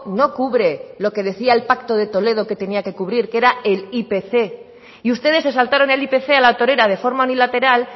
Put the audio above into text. no cubre lo que decía el pacto de toledo que tenía que cubrir que era el ipc y ustedes se saltaron el ipc a la torera de forma unilateral